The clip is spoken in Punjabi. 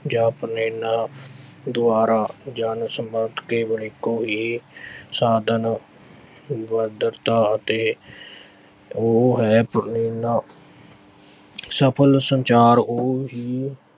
ਜਾਂ ਦੁਆਰਾ। ਜਨ ਸੰਪਰਕ ਕੇਵਲ ਇਕੋ ਹੀ ਸਾਧਨ ਅਤੇ ਹੈ। ਸਫ਼ਲ ਸੰਚਾਰ ਉਹ ਹੀ